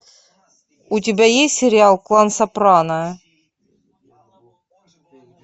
у тебя есть сериал клан сопрано